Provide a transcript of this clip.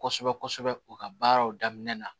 Kosɛbɛ kosɛbɛ u ka baaraw daminɛ na